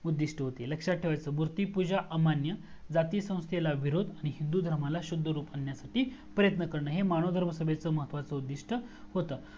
उद्दिस्ट होती लक्षात ठेवायचा मूर्तिपूजा अमान्य जाती संस्थेला विरोध आणि हिंदू धर्माला शुद्ध रूप आणन्यासाठी प्रयत्न करन हे मानव धर्म सभेचे महत्वाचे उद्दिस्ट होतं